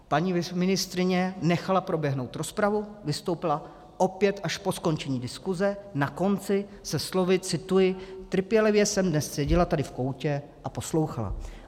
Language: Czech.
Paní ministryně nechala proběhnout rozpravu, vystoupila opět až po skončení diskuse, na konci, se slovy - cituji: "Trpělivě jsem dnes seděla tady v koutě a poslouchala."